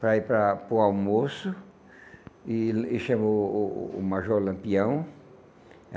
para ir para para o almoço, e le e chamou o o major Lampião.